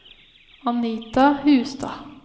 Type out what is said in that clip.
Anita Hustad